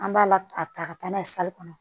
An b'a la ta ka taa n'a ye kɔnɔ